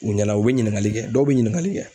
U ɲɛna u bɛ ɲininkali kɛ dɔw bɛ ɲininkali kɛ.